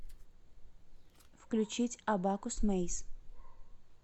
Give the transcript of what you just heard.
включить абакусмэйз